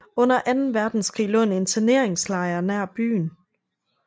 Under anden verdenskrig lå en interneringslejr nær byen